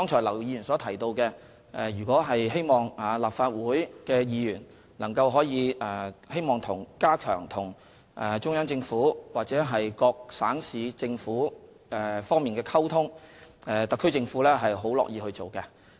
劉議員剛才提到，希望立法會議員能夠加強與中央政府或各省市政府溝通，特區政府是非常樂意促成的。